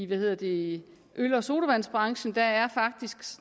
ved at i øl og sodavandsbranchen